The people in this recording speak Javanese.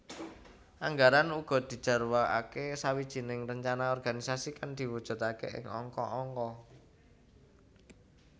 Anggaran uga dijarwakake sawijining rencana organisasi kang diwujudake ing angka angka